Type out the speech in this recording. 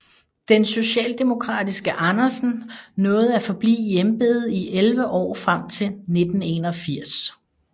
Den socialdemokratiske Andersen nåede at forblive i embedet i 11 år frem til 1981